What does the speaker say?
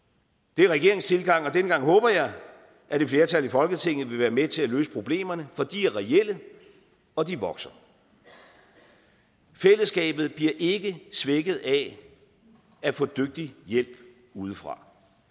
det er regeringens tilgang og denne gang håber jeg at et flertal i folketinget vil være med til at løse problemerne for de er reelle og de vokser fællesskabet bliver ikke svækket af at få dygtig hjælp udefra